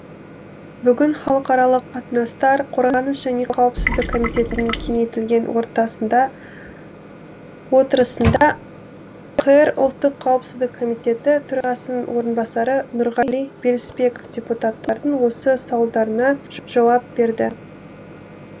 бүгін халықаралық қатынастар қорғаныс және қауіпсіздік комитетінің кеңейтілген отырысында қр ұлттық қауіпсіздік комитеті төрағасының орынбасары нұрғали білісбеков депутаттардың осы сауалдарына жауап берді